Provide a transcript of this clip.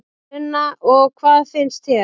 Sunna: Og hvað finnst þér?